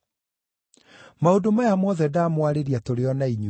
“Maũndũ maya mothe ndamwarĩria tũrĩ o na inyuĩ.